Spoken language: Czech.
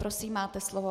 Prosím, máte slovo.